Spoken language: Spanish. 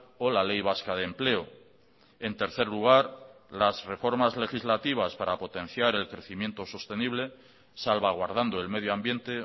o la ley vasca de empleo en tercer lugar las reformas legislativas para potenciar el crecimiento sostenible salvaguardando el medio ambiente